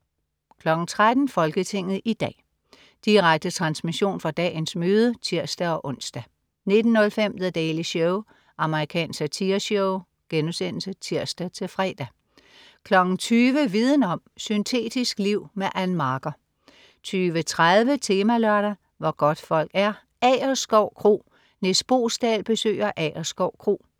13.00 Folketinget i dag. Direkte transmission fra dagens møde (tirs-ons) 19.05 The Daily Show. Amerikansk satireshow* (tirs-fre) 20.00 Viden om: Syntetisk liv. Ann Marker 20.30 Temalørdag: Hvor godtfolk er: Agerskov Kro. Nis Boesdal besøger Agerskov Kro